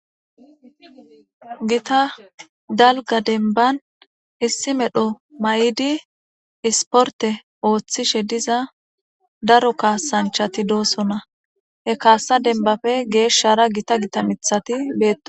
Guta dalga demban issi medho mayid sporte oothishe diza dark kasanchato de'osona he kasa dembappe geshara gita gita mthat betosona